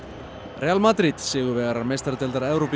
real Madrid sigurvegarar meistaradeildar Evrópu